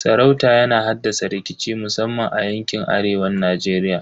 Sarauta yana haddasa rikici musamman a yankin arewan Najeriya.